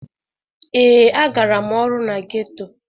Ee, agara m ọrụ na geto.